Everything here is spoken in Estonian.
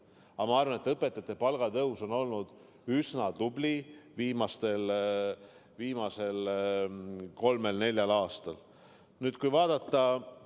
Aga ma arvan, et õpetajate palga tõus on viimasel kolmel-neljal aastal olnud üsna tubli.